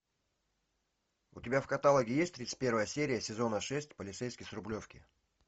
у тебя в каталоге есть тридцать первая серия сезона шесть полицейский с рублевки